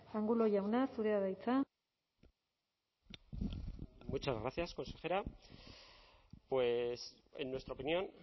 angulo jauna zurea da hitza muchas gracias consejera pues en nuestra opinión